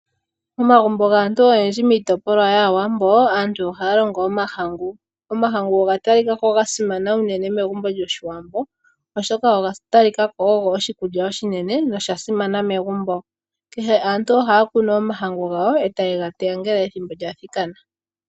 Omagumbo gaantu oyendji miitopolwa yAawambo. Aantu ohaya longo omahangu, omahangu oga talika ko ga simana uunene megumbo lyOshiwambo, oshoka oga talika ko ogo oshikulya oshinene nosha simana megumbo. Kehe aantu ohaya kunu omahangu gawo e taye ga teya ngele ethimbo lya thikana.